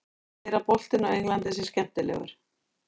Hann segir að boltinn á Englandi sé skemmtilegur.